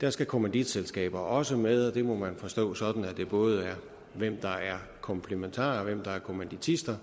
der skal kommanditselskaber også med og det må man forstå sådan at det både er hvem der er komplimentarer og hvem der er kommanditister